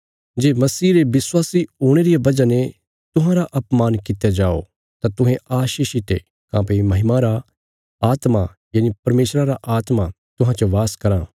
जे मसीह रे विश्वासी हुणे रिया वजह ने तुहांरा अपमान कित्या जाओ तां तुहें आशीषित ये काँह्भई महिमा रा आत्मा यनि परमेशरा रा आत्मा तुहां च बास कराँ